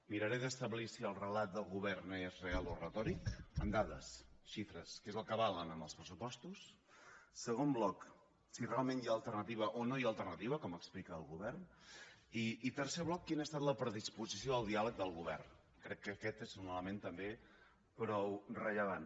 miraré d’establir si el relat del govern és real o retòric amb dades xifres que és el que val en els pressupostos segon bloc si realment hi ha alternativa o no hi ha alternativa com explica el govern i tercer bloc quina ha estat la predisposició al diàleg del govern crec que aquest és un element també prou rellevant